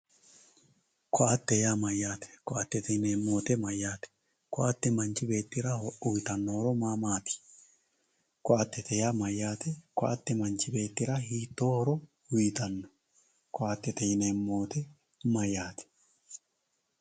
Ko`ate yaa mayate ko`atete yinemo woyite mayaate ko`ate manchi beetira uyitano horo mamati ko`atete yaa mayate ko`ate manchi betira hiito horo uyitano ko`atete yineemo woyite mayatae?